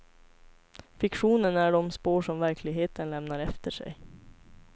Fiktionen är de spår som verkligheten lämnar efter sig.